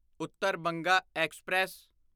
Uttar Banga express